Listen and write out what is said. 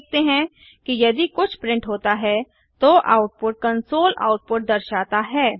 हम देखते हैं कि यदि कुछ प्रिंट होता है तो आउटपुट कन्सोल आउटपुट दर्शाता है